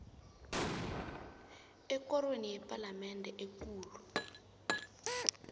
ekorweni yepalamende ekulu